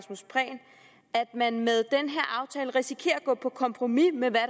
man med den her aftale risikerer at gå på kompromis med hvad